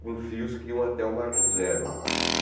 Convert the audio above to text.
com fios que iam até o Marco Zero.